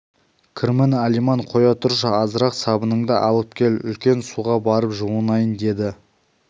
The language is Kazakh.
кірмін алиман қоя тұршы азырақ сабыныңды алып кел үлкен суға барып жуынайын деді